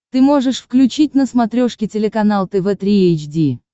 ты можешь включить на смотрешке телеканал тв три эйч ди